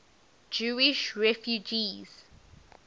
jewish refugees